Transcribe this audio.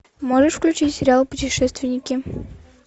можешь включить сериал путешественники